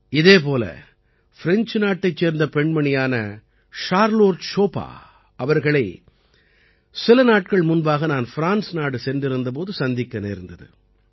இதே போல ஃப்ரெஞ்சு நாட்டைச் சேர்ந்த பெண்மணியான சார்லோட் ஷோபா ஷார்லோட் ஷோபா அவர்களை சில நாட்கள் முன்பாக நான் ஃப்ரான்ஸ் நாடு சென்றிருந்த போது சந்திக்க நேர்ந்தது